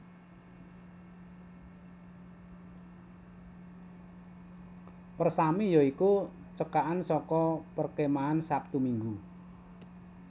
Persami ya iku cekakan saka Perkemahan Sabtu Minggu